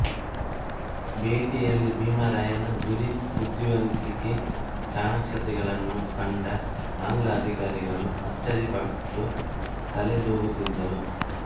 ಭೇಟಿಯಲ್ಲಿ ಭೀಮರಾಯನ ಗುರಿ ಬುದ್ಧಿವಂತಿಕೆ ಚಾಣಾಕ್ಷತೆಗಳನ್ನು ಕಂಡ ಆಂಗ್ಲ ಅಧಿಕಾರಿಗಳು ಅಚ್ಚರಿಪಟ್ಟು ತಲೆದೂಗುತ್ತಿದ್ದರು